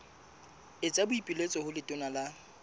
etsa boipiletso ho letona la